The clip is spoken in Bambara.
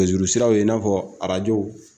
Nɛgɛjuru siraw i n'a fɔ arajo